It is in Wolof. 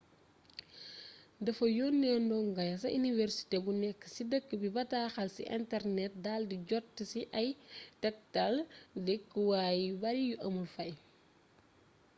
dafa yonee ndongo ya ca iniwersité bu nekk ci dëkk bi bataaxal ci internet dal di jot ci ay tektal dëkkuwaay yu bari yu amul fay